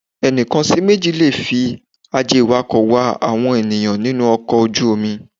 Ẹnìkan sí méjì lè fi aje iwako wá àwọn ènìyàn nínú ọkọ̀ ojú-omi.